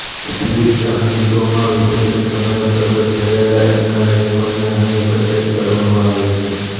વિવિધ સામયિકોમાં વિભિન્ન સમયે પ્રગટ થયેલા એમના લેખોને અહીં એકત્રિત કરવામાં આવ્યાં છે